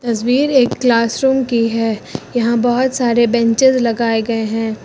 तस्वीर एक class room की है यहां बहुत सारे बेंचेज लगाए गए हैं।